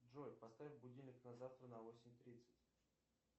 джой поставь будильник на завтра на восемь тридцать